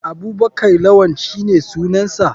Abubakar lawann shine sunansa.